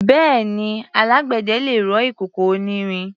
Bẹ́ẹ̀ni, alágbẹ̀dẹ lè rọ ìkòkò onírin.